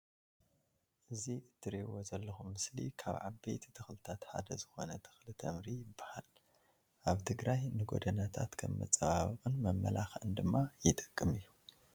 እዚ ትርእዎ ዘለኩም ምስሊ ዓበይቲ ተክልታት ሓደ ዝኮነ ተክሊ ተምሪ ይባሃል። ኣብ ትግራይ ንጎደናታት ከም መፀባበቅን መመላክዕን ድማ ይጥቅም እዩ።